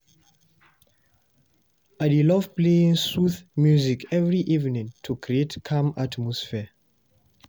I dey love playing soothing music every evening to create calm atmosphere.